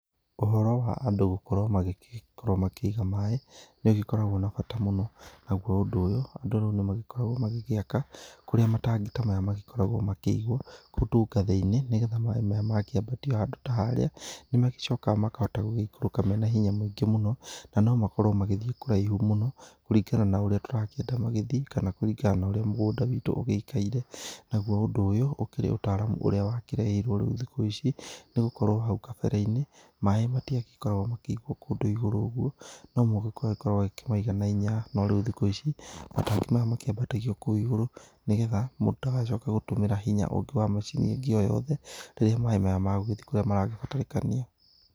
Ũhoro wa andũ gũkorwo magĩgĩkorwo makĩiga maĩ nĩ ũgĩkoragwo na bata mũno, naguo ũndũ ũyũ andũ rĩu nĩ magĩkoragwo magĩgĩaka kũrĩa matangi ta maya magĩkoragwo makĩigwo kũndũ gathĩ-inĩ nĩgetha maĩ maya mangĩkĩambatio handũ ta haria nĩ magĩcokaga makahota gũgĩĩkũrũka mena hinya mũingĩ mũno na no makorwo magĩthĩ kũraihu mũno kũringana na ũrĩa tũrakĩenda magĩthĩ kana kũringana na ũrĩa mũgũnda wĩtũ ũgĩikaire. Naguo ũndũ ũyũ ũkĩrĩ ũtaramu ũrĩa wakĩrehirwo rĩu thikũ ici nĩgũkorwo hau kabere-inĩ maĩ matiagĩkoragwo makĩigwo kũndũ igũrũ ũguo nomũhaka ũkorwo ũgĩkĩmaiga na hinya. No rĩu thikũ ici matangi maya makĩambatagio kũu igũrũ nĩgetha mũndũ ndagacoke gũtũmĩra hinya ũngĩ wa macini ĩngĩ o yothe rĩrĩa maĩ maya megũgĩthĩ kũrĩa maragĩbataranĩkania